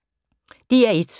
DR1